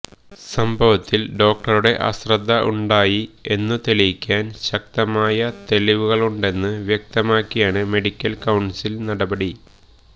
സംഭവത്തിൽ ഡോക്ടറുടെ അശ്രദ്ധ ഉണ്ടായി എന്നു തെളിയിക്കാൻ ശക്തമായ തെളിവുകളുണ്ടെന്ന് വ്യക്തമാക്കിയാണ് മെഡിക്കൽ കൌൺസിൽ നടപടി